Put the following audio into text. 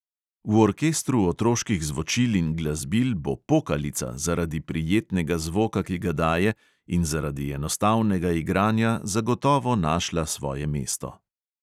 V orkestru otroških zvočil in glasbil bo pokalica zaradi prijetnega zvoka, ki ga daje, in zaradi enostavnega igranja zagotovo našla svoje mesto.